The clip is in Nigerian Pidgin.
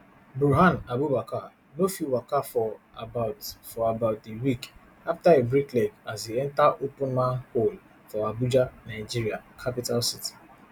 bruhan abubakar no fit waka for about for about a week afta e break leg as e enta open manhole for abuja nigeria capital city